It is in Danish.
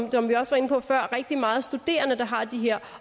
vi også var inde på før rigtig mange studerende der har de her